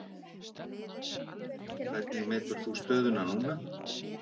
Hvernig metur þú stöðuna núna?